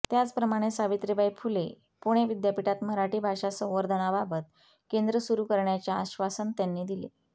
त्याचप्रमाणे सावित्रीबाई फुले पुणे विद्यापीठात मराठी भाषा संवर्धनाबाबत केंद्र सुरू करण्याचे आश्वासन त्यांनी दिले